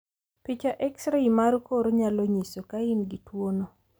picha X rai mar kor nyalo nyiso ka in gi tuwono.